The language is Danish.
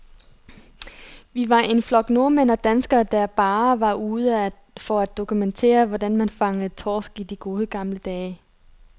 Vi var en flok nordmænd og danskere, der bare var ude for at dokumentere, hvordan man fangede torsk i de gode, gamle dage.